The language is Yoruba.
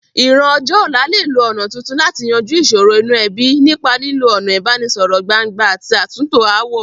Ìran ọjọ́ ọ̀la lè lo ọ̀nà tuntun láti yanjú ìsòro inú ebí, nípa lílo ọ̀nà ìbánisọ̀rọ̀ gbangba àti àtúntò ááwọ̀.